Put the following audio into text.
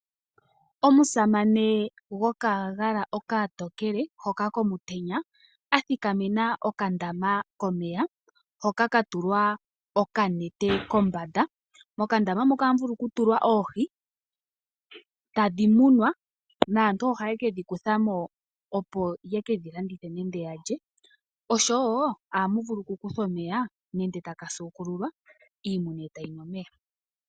Omusamane gokagala okatokele hoka komutenya a thikamena okandama komeya hoka ka tulwa okanete kombanda. Mokandama muka ohamu vulu okutulwa oohi, tadhi munwa naantu ohaye ke dhi kutha mo, opo ye kedhi landithe nenge ya lye. Ohamu vulu okukuthwa omeya nenge taka suukululwa, iimuna e tayi nu omeya.